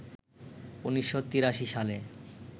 ১৯৮৩ সালে